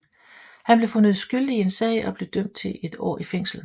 Han blev fundet skyldig i en sag og blev dømt til et år i fængsel